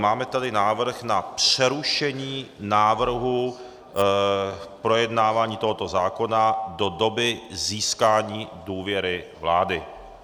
Máme tady návrh na přerušení návrhu, projednávání tohoto zákona do doby získání důvěry vlády.